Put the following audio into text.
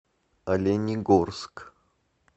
оленегорск